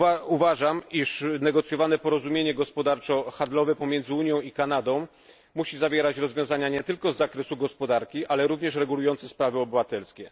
Uważam, iż negocjowane porozumienie gospodarczo handlowe pomiędzy Unią i Kanadą musi zawierać rozwiązania nie tylko z zakresu gospodarki, ale również regulujące sprawy obywatelskie.